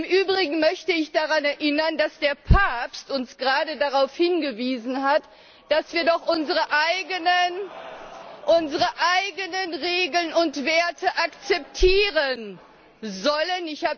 Im Übrigen möchte ich daran erinnern, dass der Papst uns gerade darauf hingewiesen hat, dass wir doch unsere eigenen Regeln und Werte akzeptieren sollen.